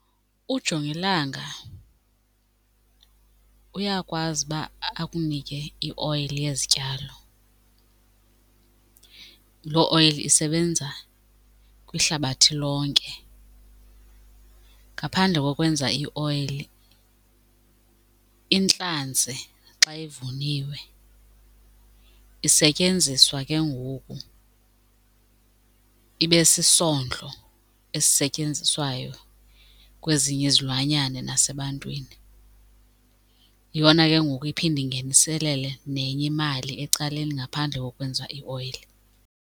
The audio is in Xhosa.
Ujongilanga uyakwazi uba akunike ioyili yezityalo, loo oyili isebenza kwihlabathi lonke. Ngaphandle kokwenza ioyili, intlanzi xa ivuniwe isetyenziswa ke ngoku ibe sisondlo esisetyenziswayo kwezinye izilwanyana nasebantwini. Yiyona ke ngoku iphinde ingeniselele nenye imali ecaleni ngaphandle kokwenza ioyili.